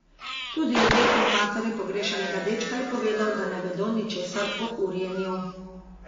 Tudi odvetnik matere pogrešanega dečka je povedal, da ne vedo ničesar o urjenju.